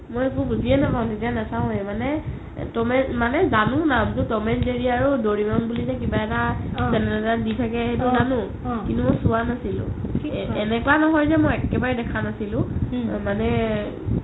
মই একো বুজিয়ে নাপাও য়ে নিজে নাচাওয়ে মানে জানো নামটো ত'ম and জেৰি আৰু ডৰেমন বুলি যে কিবা এটা আছে channel এটাত দি থাকে সেইটো জানো কিন্তু মই চোৱা নাছিলো এনেকুৱা নহয় যে মই একেবাৰে দেখা নাছিলো মানে